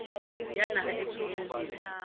ya naha e tshwereng motho